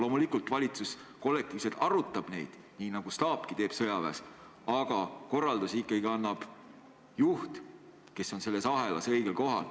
Loomulikult, valitsus kollektiivselt arutab neid, nii nagu staapki teeb sõjaväes, aga korraldusi annab ikkagi juht, kes on selles ahelas õigel kohal.